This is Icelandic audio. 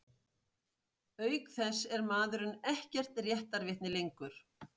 Auk þess er maðurinn ekkert réttarvitni lengur.